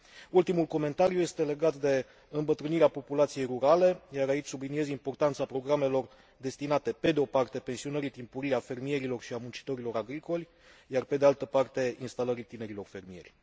Ultimul comentariu este legat de îmbătrânirea populației rurale, iar aici subliniez importanța programelor destinate, pe de o parte, pensionării timpurii a fermierilor și a muncitorilor agricoli iar, pe de altă parte, instalării tinerilor fermieri.